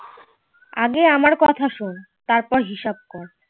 আগে আমার কথা সন তার পর হিসাব কর